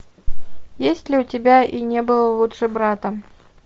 есть ли у тебя и не было лучше брата